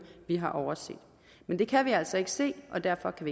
vi har overset men det kan vi altså ikke se og derfor kan